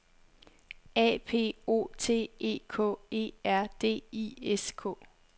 A P O T E K E R D I S K